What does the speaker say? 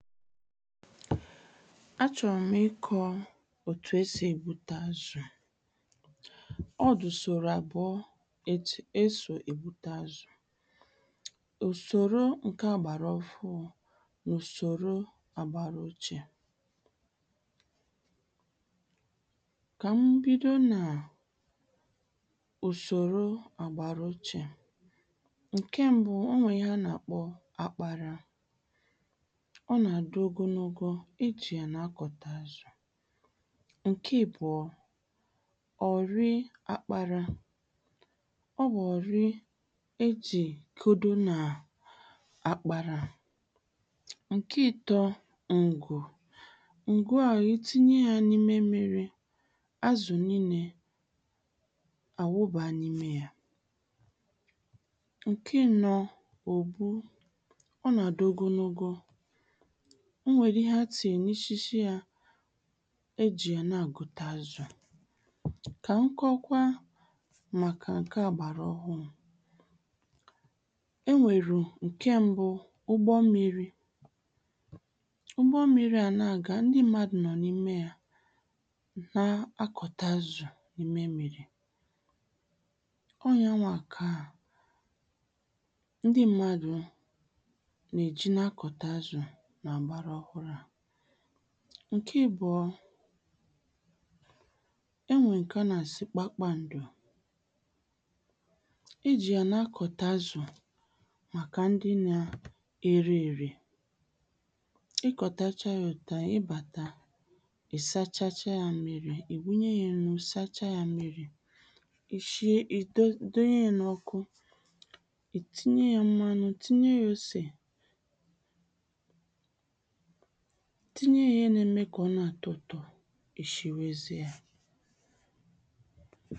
achọ̀rò m ìkọ̇ ọ̀tụ̀ e sì ebùtà àzù ọ dị̀ ǹsòòrò àbùọ, òtù è si ebùtà àzù, ùsòòrò ǹkè àgbàrà òchè n’ùsòòrò àgbàrà òhụ̀rụ̇ kà m bìdò nà ùsòòrò àgbàrà òchè ǹkè mbu, ònwè íhè a nà-àkpọ̀ àkpàrà ó na-adí́ ògòlògò ejì yà nà-àkọ̇tà àzù, ǹkè àbùọ, ọ̀rị àkpàrà ọ bụ̀ ọ̀rị ejì ekòdò nà àkpàrà, ǹkè ịtọ̇ ngụ̇, ngụ̇ à itinye ya nà ímé mmìrì, àzù nìilé àwụ̀bà nà ímé yà ǹkè ànọ̇, ọ̀bụ̀, ó nà-àdị́ ògòlògò ò nwèrè íhè a tìnyè n’ísìshí yà e jì yà nà-àgò̇tà àzù. kà m kọ̇kwa màkà ǹkè àgbàrà òhụ̀rụ̇ è nwèrè ǹkè mbu, ǹgbò mmìrì̇ ǹgbò mmìrì̇ à na-agà ndí mmádụ̀ nọ n’ímè yà nà-àkọ̇tà àzù n’ímè mmìrì̇ ó yàwà kà ndí mmádụ̀ nà-èjí nà-àkọ̇tà àzù nà ngbàrà òhụ̀rụ̇ à ǹkè àbùọ, ènwèrè ǹkè a nà-àsị̀ kpakpàndò ejì yà nà-àkọ̇tà àzù màkà ndí nà èré èrè ìkọ̇tàchá ya òtù à, ì bàtà í sàchácha ya mmìrì̇, ì wúnyè ya nnụ̇ sàchácha ya mmìrì̇, ì shíe, ì dònyè n’ọ́kụ̀, ì tìnyè ya mmanụ̀, tìnyè ya òsè tìnyè ya íhè n’èmè kà ọ̀ nà-àtọ ùtò̇, ì shìwezìe ya.